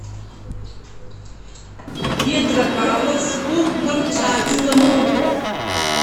петропавловску камчатскому